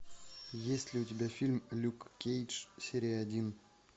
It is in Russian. есть ли у тебя фильм люк кейдж серия один